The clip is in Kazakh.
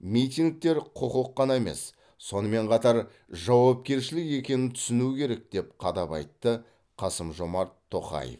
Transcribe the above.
митингтер құқық қана емес сонымен қатар жауапкершілік екенін түсіну керек деп қадап айтты қасым жомарт тоқаев